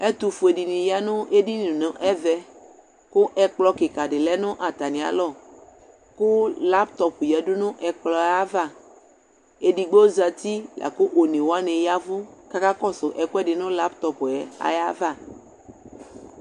ɛtʋƒʋɛ diniyanʋ ɛdini nʋ ɛvɛ kʋ ɛkplɔ kika di lɛnʋ atami alɔ kʋlaptop yadʋ nʋ ɛkplɔɛ aɣa, ɛdigbɔ zati lakʋ ɔnɛ wani yavʋ kʋ akakɔsʋ ɛkʋɛdi nʋ laptopɛ aɣa